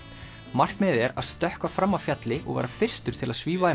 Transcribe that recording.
markmiðið er að stökkva fram af fjalli og vera fyrstur til að svífa í